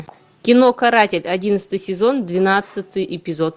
кино каратель одиннадцатый сезон двенадцатый эпизод